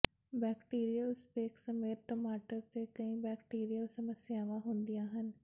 bacterial speck ਸਮੇਤ ਟਮਾਟਰ ਤੇ ਕਈ ਬੈਕਟੀਰੀਅਲ ਸਮੱਸਿਆਵਾਂ ਹੁੰਦੀਆਂ ਹਨ